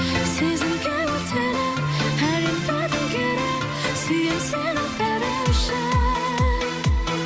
сезімге өртеніп әлемді төңкеріп сүйемін сені бәрі үшін